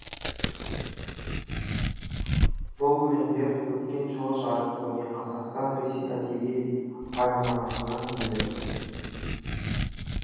бұл өлеңдер өткен жылы жарық көрген қазақстан ресей әдеби альманахына енді